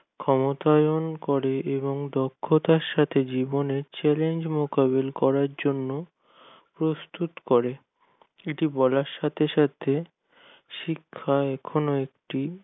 ক্ষমতাবান করে এবং দক্ষতার সাথে জীবনে challenge মোকাবিলা করার জন্য প্রস্তুত করে কিছু বলার সাথে সাথে শিক্ষা এখনো অবধি